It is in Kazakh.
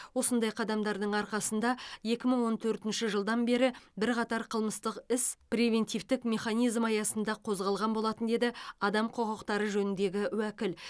осындай қадамдардың арқасында екі мың он төртінші жылдан бері бірқатар қылмыстық іс превентивтік механизм аясында қозғалған болатын деді адам құқықтары жөніндегі уәкіл